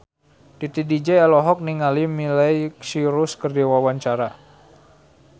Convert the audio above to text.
Titi DJ olohok ningali Miley Cyrus keur diwawancara